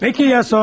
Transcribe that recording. Peki ya sonra?